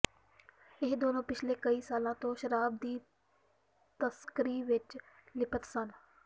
ਇਹ ਦੋਨੋਂ ਪਿਛਲੇ ਕਈ ਸਾਲਾਂ ਤੋਂ ਸ਼ਰਾਬ ਦੀ ਤਸਕਰੀ ਵਿੱਚ ਲਿਪਤ ਸਨ